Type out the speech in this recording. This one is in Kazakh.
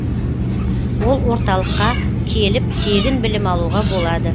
ол орталыққа келіп тегін білім алуға болады